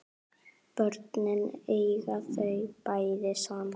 Börnin eiga þau bæði saman